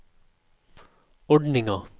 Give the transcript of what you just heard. ordninga